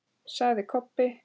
sagði Kobbi.